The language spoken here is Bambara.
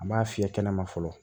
An b'a fiyɛ kɛnɛma fɔlɔ